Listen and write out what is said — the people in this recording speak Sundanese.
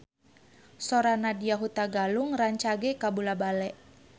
Sora Nadya Hutagalung rancage kabula-bale